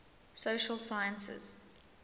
social sciences